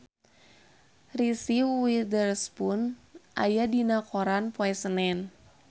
Reese Witherspoon aya dina koran poe Senen